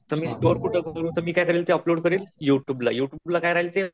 तर मी ते स्टोर कुठं करू तर मी काय करेल ते अपलोड करेल यु ट्यूबला. यु ट्यूबला काय राहील ते